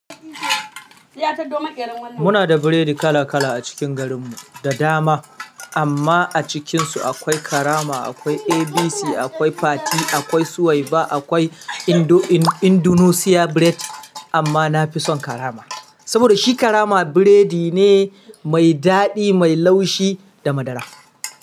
Muna da biredi kala-kala a cikin garin mu da dama, amma, a cikin su akwai karama, akwai ABC, akwai Fati, akwai Suwaiba, akwai Indo-In-Indonesia bread. Amma na fi son karama, saboda shi karama biredi ne mai daɗi, mai laushi da madara.